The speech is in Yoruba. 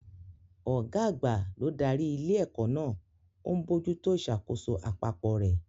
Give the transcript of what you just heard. Ọ̀gá àgbà ló darí ilé-ẹ̀kọ́ náà, ó ń bójú tó ìṣàkóso àpapọ̀ rẹ̀.